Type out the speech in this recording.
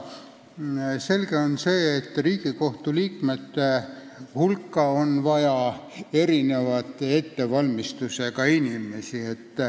Selge on see, et Riigikohtu liikmete hulka on vaja erineva ettevalmistusega inimesi.